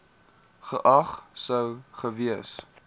geag sou gewees